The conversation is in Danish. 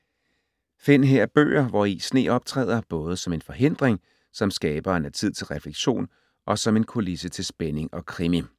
Find her bøger, hvori sne optræder. Både som en forhindring, som skaberen af tid til refleksion og som en kulisse til spænding og krimi.